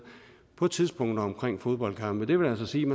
på tidspunkter omkring fodboldkampe det vil altså sige